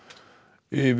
yfir